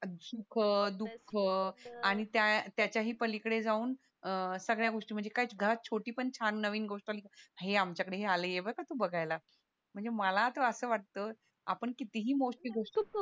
सुख दुःख त्याच्या ही पलीकडे जाऊन अह सगळ्या गोष्टी म्हणजे काय सुद्धा छोटी पण छान नवीन गोष्ट आली का ये आमच्या कडे हे आलाय ये बरं का तू बघायला म्हणजे मला तर असं वाटतं आपण कितीही मोस्टली